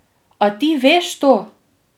A ti veš to?